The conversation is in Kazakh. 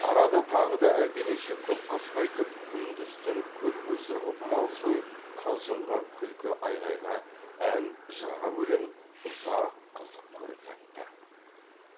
арада тағы да әлденеше көкқасқа айтып күндіз түн көл көсір қып мал сойып қалжыңға күлкі айғайға ән жырға бөленіп ұзақ қызық көріп жатты